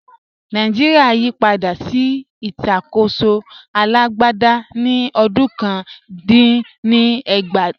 Nàìjíríà yí padà sí ìṣàkóso alágbádá ní ọdún ọ̀kan dín ní ẹgbàá